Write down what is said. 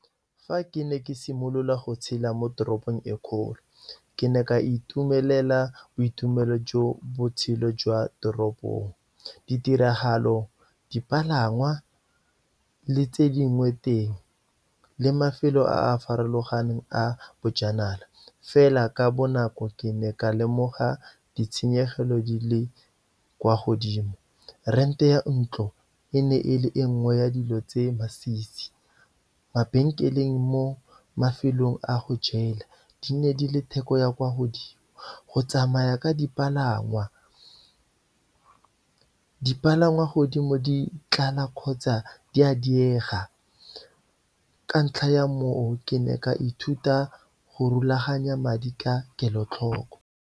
Fa ke ne ke simolola go tshela mo toropong e kgolo, ke ne ka itumelela boitumelo jo botshelo jwa toropong, ditiragalo, dipalangwa, le tse dingwe teng, le mafelo a a farologaneng a bojanala. Fela ka bonako, ke ne ka lemoga ditshenyegelo di le kwa godimo. Rent-e ya ntlo, e ne e le e nngwe ya dilo tse masisi. Mabenkeleng mo mafelong a go jela, di ne di le theko ya kwa godimo. Go tsamaya ka dipalangwa, dipalangwa godimo di tlala kgotsa di a diega, ka ntlha ya mo o, ke ne ka ithuta go rulaganya madi ka kelotlhoko.